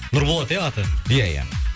нұрболат ия аты ия ия